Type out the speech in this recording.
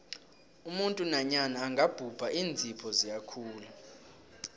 umuntu nanyana angabhubha iinzipho ziyakhula